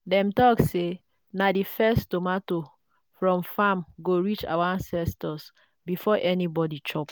dem talk say na the first tomato from farm go reach our ancestors before anybody chop.